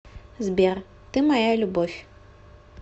сбер ты моя любовь